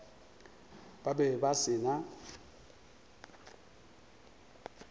ba be ba se na